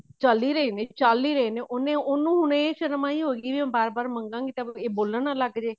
ਚੱਲ ਹੀ ਰਹੇ ਚੱਲ ਹੀ ਰਹੇ ਨੇ ਉਹਨੇ ਉਹਨੂੰ ਹੁਣ ਇਹ ਸ਼ਰਮ ਆਈ ਹੋਈ ਮੈਂ ਵਾਰ ਵਾਰ ਮੰਗਾ ਦੀ ਤਾਂ ਇਹ ਬੋਲਣ ਨਾ ਲੱਗ ਜੇ